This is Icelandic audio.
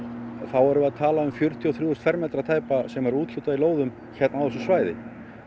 erum við að tala um fjörutíu og þrjú fermetra tæpa sem er úthlutað í lóðum á þessu svæði